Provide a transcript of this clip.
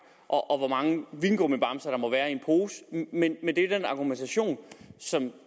og hvor mange vingummibamser der må være en pose men det er den argumentation som